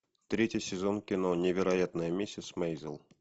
третий сезон кино невероятная миссис мейзел